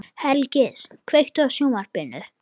Hergils, kveiktu á sjónvarpinu.